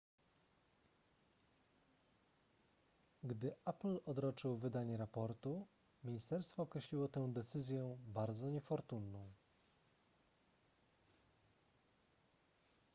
gdy apple odroczył wydanie raportu ministerstwo określiło tę decyzję bardzo niefortunną